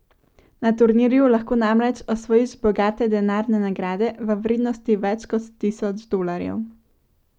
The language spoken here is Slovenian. Na turnirju lahko namreč osvojiš bogate denarne nagrade v vrednosti več kot tisoč dolarjev.